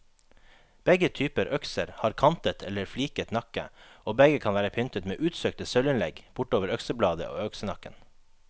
Begge typer økser har kantet eller fliket nakke, og begge kan være pyntet med utsøkte sølvinnlegg bortover øksebladet og øksenakken.